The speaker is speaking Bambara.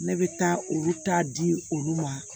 Ne bɛ taa olu ta di olu ma